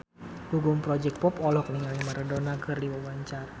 Gugum Project Pop olohok ningali Maradona keur diwawancara